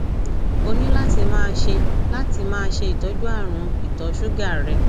o ní láti máa ṣe láti máa ṣe ìtọjú àrùn ìtọ ṣúgà rẹ